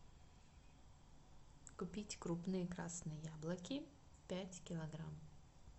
купить крупные красные яблоки пять килограмм